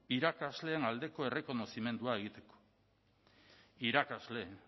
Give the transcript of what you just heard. irakasleen aldeko errekonozimendua egiteko irakasle